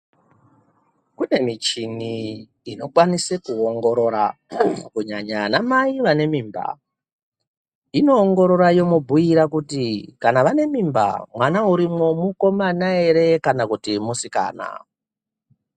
Kune michini inokwanise kuongorora kunyanya anamai vanemimba inoongorora yomubhiira kuti kana vanamimba mwana urimwo mukomana ere kana kuti musikana.